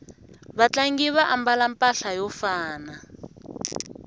vatlangi va ambala mpahla yo fana